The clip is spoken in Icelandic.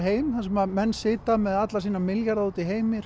heim þar sem menn sitja með alla sína milljarða úti í heimi